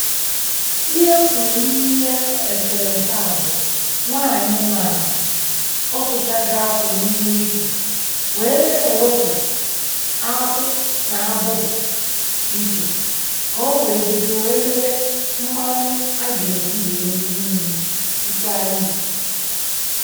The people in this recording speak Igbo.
“Ihe m fùrụ n’íhè esere-ese a bụ: Nwányị nọó ala, òsùchààgọ̀ àkwù n’ímè íkwé, k o nwe na éwepụ àkwù n’ábùbù ìché, k o nwe bidòó wee mee mmanụ a ga-eji nwee rie nri, sịkwa nri.”